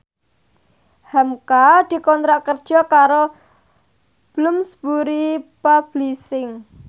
hamka dikontrak kerja karo Bloomsbury Publishing